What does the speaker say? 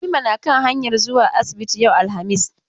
Halima na kan hanyar zuwa asibiti yau alhamis.